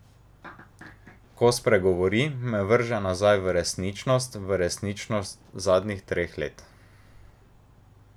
Ko spregovori, me vrže nazaj v resničnost, v resničnost zadnjih treh let.